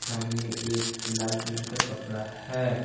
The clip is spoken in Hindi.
सामने एक लाल कलर का कपड़ा है।